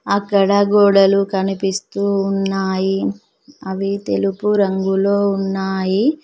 అక్కడ గోడలు కనిపిస్తూ ఉన్నాయి అవి తెలుపు రంగులో ఉన్నాయి.